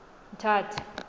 mthatha